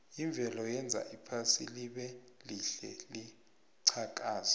imvelo yenza iphasi libelihle liqhakaze